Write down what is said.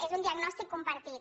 és un diagnòstic compartit